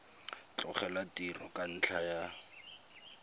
tlogela tiro ka ntlha ya